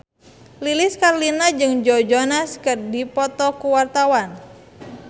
Lilis Karlina jeung Joe Jonas keur dipoto ku wartawan